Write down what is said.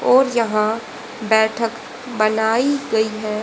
और यहां बैठक बनाई गई हैं।